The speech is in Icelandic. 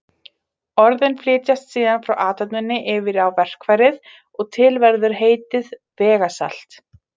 Orðin flytjast síðan frá athöfninni yfir á verkfærið og til verður heitið vegasalt.